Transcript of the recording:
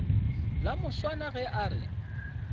la moswana ge a re